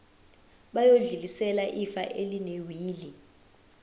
bayodlulisela ifa elinewili